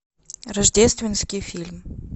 рождественский фильм